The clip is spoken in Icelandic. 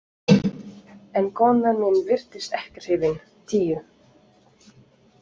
En konan mín virtist ekkert hrifin: Tíu.